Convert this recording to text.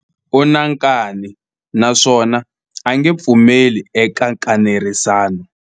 U na nkani naswona a nge pfumeli eka nkanerisano.